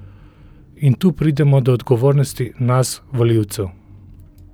In tu pridemo do odgovornosti nas volivcev.